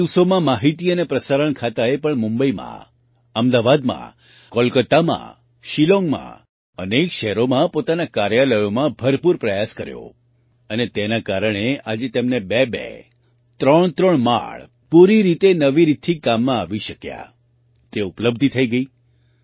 ગત દિવસોમાં માહિતી અને પ્રસારણ ખાતાએ પણ મુંબઈમાં અમદાવાદમાં કોલકાતામાં શિલોંગમાં અનેક શહેરોમાં પોતાનાં કાર્યલયોમાં ભરપૂર પ્રયાસ કર્યો અને તેના કારણે આજે તેમને બેબે ત્રણત્રણ માળ પૂરી રીતે નવી રીતથી કામમાં આવી શક્યાં તે ઉપલબ્ધિ થઈ ગઈ